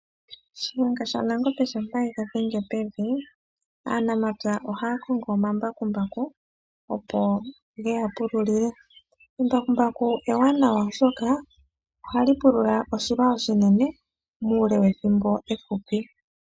Shiyenga shaNangombe shampa e ga dhenge pevi, aanamapya oha ya kongo Omambakumbaku opo ge ya pululile. Embakumbaku ewanawa oshoka oha li pulula oshilwa oshinene muule wEthimbo efupi.